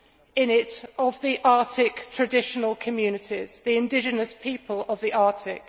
in it of the Arctic traditional communities the indigenous people of the Arctic.